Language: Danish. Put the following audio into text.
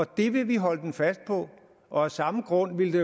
det vil vi holde den fast på og af samme grund ville det